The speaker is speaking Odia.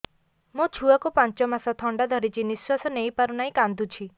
ମୋ ଛୁଆକୁ ପାଞ୍ଚ ମାସ ଥଣ୍ଡା ଧରିଛି ନିଶ୍ୱାସ ନେଇ ପାରୁ ନାହିଁ କାଂଦୁଛି